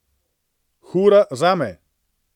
Hura zame.